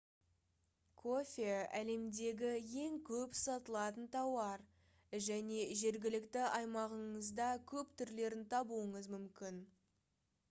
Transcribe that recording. кофе әлемдегі ең көп сатылатын тауар және жергілікті аймағыңызда көп түрлерін табуыңыз мүмкін